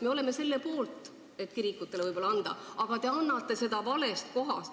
Me oleme selle poolt, et kirikutele raha anda, aga te annate seda valest kohast.